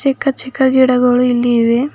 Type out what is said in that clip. ಚಿಕ್ಕ ಚಿಕ್ಕ ಗಿಡಗಳು ಇಲ್ಲಿ ಇವೆ.